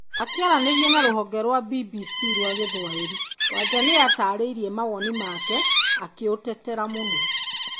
Akĩaria na rũhonge rwa BBC rwa Gĩthwaĩri, Wanja nĩ aataarĩirie mawoni make akĩ ũtetera mũno.